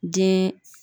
Den